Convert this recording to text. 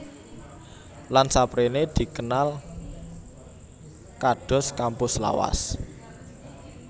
Lan saprene dikenal kados kampus lawas